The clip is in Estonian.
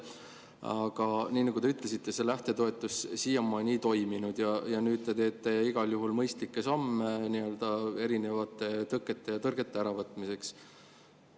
Aga nagu te ütlesite, see lähtetoetus siiamaani ei toiminud, ja nüüd te teete igal juhul mõistlikke samme erinevate tõkete ja tõrgete mahavõtmiseks.